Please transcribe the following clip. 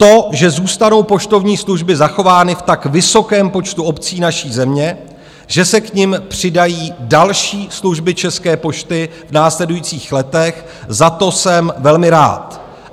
To, že zůstanou poštovní služby zachovány v tak vysokém počtu obcí naší země, že se k nim přidají další služby České pošty v následujících letech, za to jsem velmi rád.